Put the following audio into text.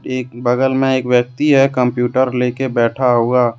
एक बगल में एक व्यक्ति है कंप्यूटर लेकर बैठा हुआ।